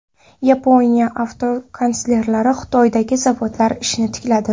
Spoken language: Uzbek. Yaponiya avtokonsernlari Xitoydagi zavodlari ishini tikladi.